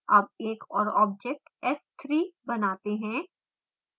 अब एक और object s3 बनाते हैं